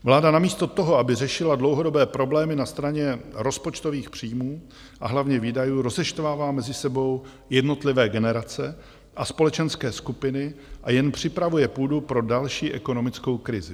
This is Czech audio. Vláda namísto toho, aby řešila dlouhodobé problémy na straně rozpočtových příjmů, a hlavně výdajů, rozeštvává mezi sebou jednotlivé generace a společenské skupiny a jen připravuje půdu pro další ekonomickou krizi.